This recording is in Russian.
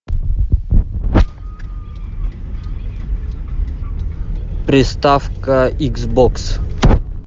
приставка икс бокс